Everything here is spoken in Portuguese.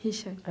Richard.